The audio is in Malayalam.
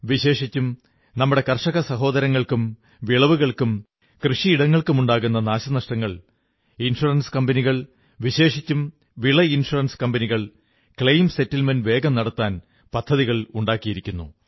വിശേഷിച്ചും നമ്മുടെ കർഷകസഹോദരങ്ങൾക്കും വിളവുകൾക്കും കൃഷിയിടങ്ങൾക്കുമുണ്ടാകുന്ന നാശനഷ്ടങ്ങൾ ഇൻഷ്വറൻസ് കമ്പനികൾ വിശേഷിച്ചും വിള ഇൻഷുറൻസ് കമ്പനികൾ ക്ലെയിം സെറ്റിൽമെന്റ് വേഗം നടത്താൻ പദ്ധതികൾ ഉണ്ടാക്കിയിരിക്കുന്നു